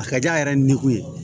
A ka di a yɛrɛ ni o ye